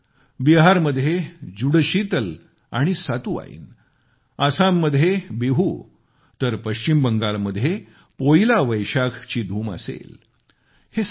त्याचकाळात बिहारमध्ये जुडशीतल आणि सातुवाईन आसाम मध्ये बिहू तर पश्चिम बंगालमध्ये पोईला वैशाखची धूम असेल